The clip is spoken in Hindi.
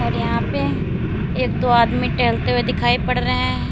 और यहाँ पे एक दो आदमी टहलते हुए दिखाई पड़ रहे हैं।